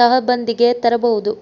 ತಹಬಂದಿಗೆ ತರಬಹುದು